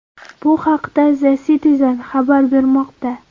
Bu haqda The Citizen xabar bermoqda .